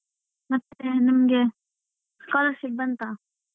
ಮತ್ತೆ ನಿಮ್ಗೆ scholarship ಬಂತಾ?